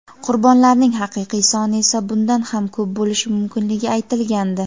qurbonlarning haqiqiy soni esa bundan ham ko‘p bo‘lishi mumkinligi aytilgandi.